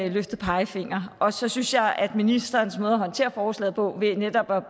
løftet pegefinger her så synes jeg at ministerens måde at håndtere forslaget på ved netop at